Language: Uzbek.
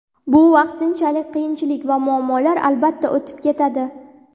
Bu vaqtinchalik qiyinchilik va muammolar, albatta, o‘tib ketadi.